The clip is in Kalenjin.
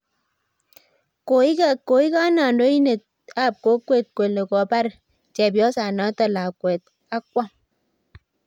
koikan handoinet ap kokwet kole kopar chepyosanat lakwet ak kwam